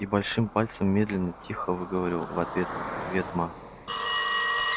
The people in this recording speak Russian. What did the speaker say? и большим пальцем медленно тихо выговорил в ответ привет ма